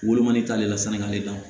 Wolomani t'ale la sini ka le d'a ma